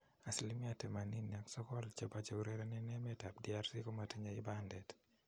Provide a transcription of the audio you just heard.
Asilimia 89 chepo cheurereni eng emet ap DRC komatinye ibadet